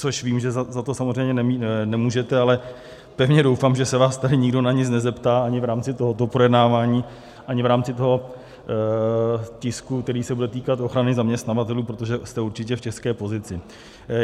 Což vím, že za to samozřejmě nemůžete, ale pevně doufám, že se vás tady nikdo na nic nezeptá ani v rámci tohoto projednávání, ani v rámci toho tisku, který se bude týkat ochrany zaměstnavatelů, protože jste určitě v těžké pozici.